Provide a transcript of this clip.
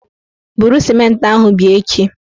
Buru sịmentị ahụ bịa echi!